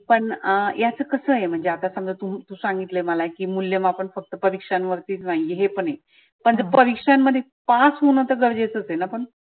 पण याच कसं आहे म्हणजे आता तु तु सांगितलय मला की मुल्यमापण फक्त परिक्षांवरती नाहीए हे पण आहे. पण जर परिक्षांमदध्ये pass होनं तर गरजेच आहे ना पण.